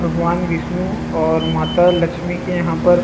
भगवन बिष्णु और माता लक्ष्मी के यहाँ पर--